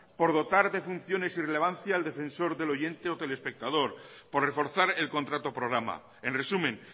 por dotar de funciones y relevancia al defensor del oyente o telespectador por reforzar el contrato programa en resumen